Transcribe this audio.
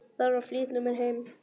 Þarf að flýta mér heim.